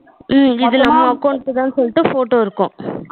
உம் அதுல ஏ account த சொல்லிட்டு photo இருக்கும்.